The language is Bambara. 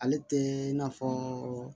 Ale tɛ n'a fɔ